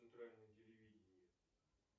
центральное телевидение